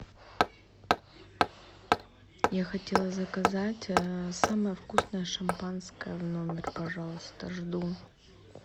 я хотела заказать самое вкусное шампанское в номер пожалуйста жду